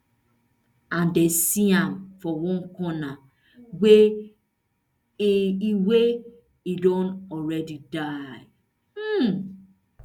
and dem see am for one corner wia e wia e don already die